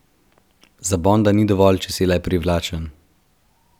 Za Bonda ni dovolj, če si le privlačen.